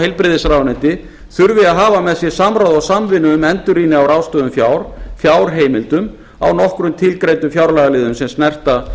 heilbrigðisráðuneyti þurfi að hafa með sér samráð og samvinnu um endurrýni á ráðstöfun fjár fjárheimildum á nokkrum tilgreindum fjárlagaliðum sem snerta